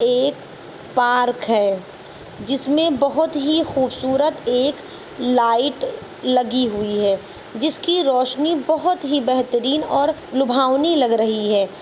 एक पार्क है जिसमें बोहोत ही खूबसूरत एक लाइट लागी हुई है जिसकी रोशनी बोहोत ही बेहतरीन और लुभावनी लग रही है।